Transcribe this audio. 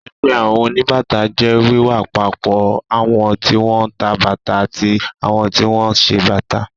Ẹgbẹ́ àwọn oníbàtà jẹ́ wíwápapọ̀ àwọn tí wọ́n ń ta bàtà àti àwọn tí wọ́n ń ṣe bàtà.